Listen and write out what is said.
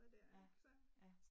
Ja, ja